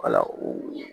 Wala o